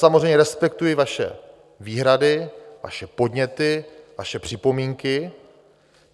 Samozřejmě respektuji vaše výhrady, vaše podněty, vaše připomínky.